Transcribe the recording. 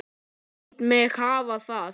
Læt mig hafa það!